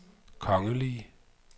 kongelige